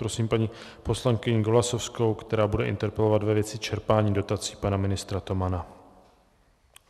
Prosím paní poslankyni Golasowskou, která bude interpelovat ve věci čerpání dotací pana ministra Tomana.